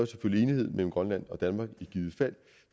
selvfølgelig enighed mellem grønland og danmark